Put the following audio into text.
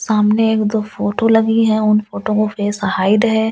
सामने एक दो फोटो लगी है उन फोटो फेस हाइड है --